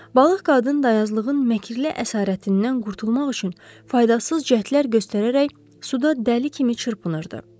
Balıq qadın dayazlığın məkli əsarətindən qurtulmaq üçün faydasız cəhdlər göstərərək suda dəli kimi çırpınırdı.